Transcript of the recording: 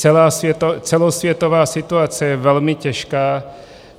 Celosvětová situace je velmi těžká.